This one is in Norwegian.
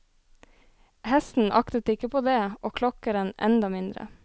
Hesten aktet ikke på det, og klokkeren enda mindre.